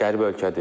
Qərib ölkədir.